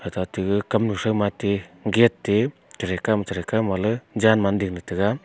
cha ti kam thu ate gate a che thei kaw ma che thei kaw ma le jan man ding tega.